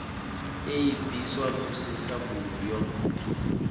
i bviswa musi sambulu yo